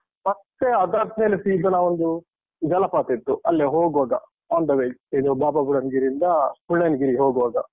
ಮತ್ತೆ ಅದಾದ್ಮೇಲೆ ಸೀದ ನಾವೊಂದು ಜಲಪಾತ ಇತ್ತು. ಅಲ್ಲೇ ಹೋಗ್ವಾಗ. on the way .ಇದು ಬಾಬಾ ಬುಡನ್ಗಿರಿಯಿಂದ Mullayanagiri ಹೋಗ್ವಾಗ.